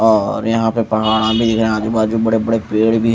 और यहां पे पहाड़ा भी है आजू बाजू बड़े बड़े पेड़ भी--